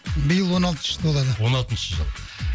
биыл он алтыншы жыл толады он алтыншы жыл